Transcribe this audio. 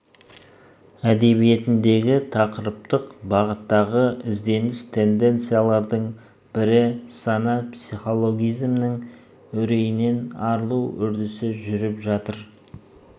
әдебиетіндегі тақырыптық бағыттағы ізденіс тенденциялардың бірі сана психологизмінің үрейінен арылу үрдісі жүріп жатыр